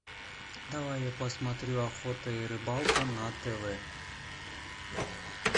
давай я посмотрю охота и рыбалка на тв